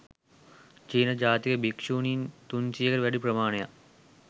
චීන ජාතික භික්‍ෂුණීන් තුන්සියයකට වැඩි ප්‍රමාණයක්